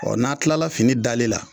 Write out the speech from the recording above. n'a kilala fini dali la